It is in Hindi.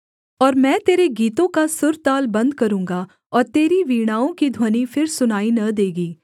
और मैं तेरे गीतों का सुरताल बन्द करूँगा और तेरी वीणाओं की ध्वनि फिर सुनाई न देगी